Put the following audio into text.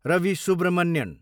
Ravi Subramanian